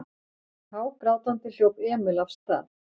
Hágrátandi hljóp Emil af stað.